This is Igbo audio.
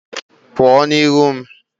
Pụọ n'ihu m!